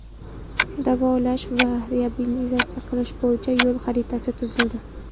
Davolash va reabilitatsiya qilish bo‘yicha yo‘l xaritasi tuzildi.